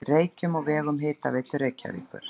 Reykjum á vegum Hitaveitu Reykjavíkur.